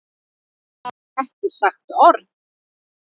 Það var ekki sagt orð!